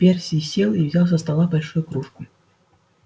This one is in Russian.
перси сел и взял со стола большую кружку